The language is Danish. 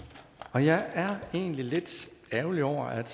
og jeg er egentlig lidt ærgerlig over at